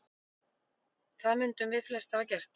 það mundum við flest hafa gert